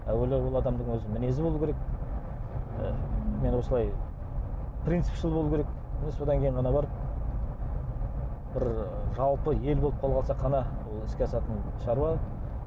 әуелі ол адамның өзі мінезі болуы керек ы мен осылай принципшіл болу керек міне содан кейін барып бір жалпы ел болып қалыватсақ қана ол іске асатын шаруа